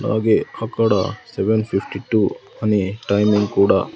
అలాగే అక్కడ seven fifty two అనే టైమింగ్ కూడా--